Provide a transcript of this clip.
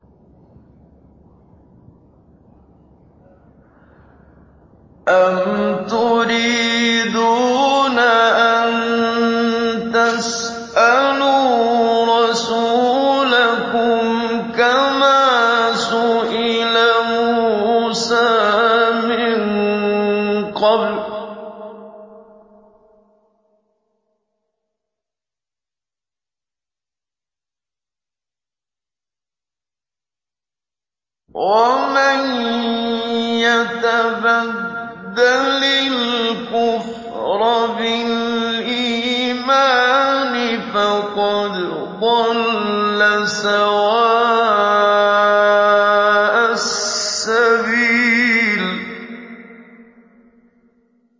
أَمْ تُرِيدُونَ أَن تَسْأَلُوا رَسُولَكُمْ كَمَا سُئِلَ مُوسَىٰ مِن قَبْلُ ۗ وَمَن يَتَبَدَّلِ الْكُفْرَ بِالْإِيمَانِ فَقَدْ ضَلَّ سَوَاءَ السَّبِيلِ